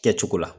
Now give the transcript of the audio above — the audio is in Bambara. Kɛcogo la